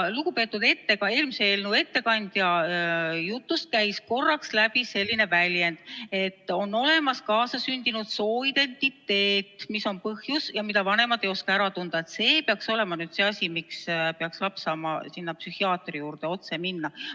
Lugupeetud eelmise eelnõu ettekandja jutust käis korraks läbi selline väljend, et on olemas kaasasündinud sooidentiteet, mis on põhjus ja mida vanemad ei oska ära tunda ja et see on nüüd see asi, miks peaks laps saama psühhiaatri juurde otse minna.